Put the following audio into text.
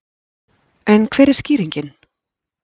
En hver er skýringin?